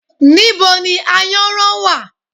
Níbo ni Ayanran wá?